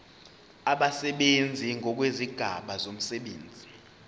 abasebenzi ngokwezigaba zomsebenzi